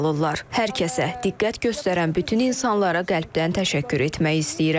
Hər kəsə diqqət göstərən bütün insanlara qəlbdən təşəkkür etmək istəyirəm.